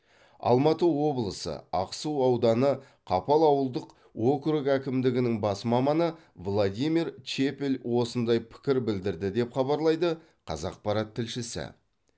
алматы облысы ақсу ауданы қапал ауылдық округ әкімдігінің бас маманы владимир чепель осындай пікір білдірді деп хабарлайды қазақпарат тілшісі